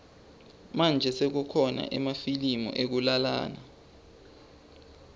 manje sekukhona emafilimu ekulalana